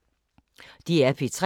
DR P3